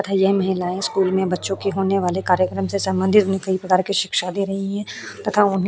तथा ये महिलायें स्कूल में बच्चों के होने वाले कार्यक्रम से संबंधित उन्हें कई प्रकार की शिक्षा दे रही हैं तथा उन्हें --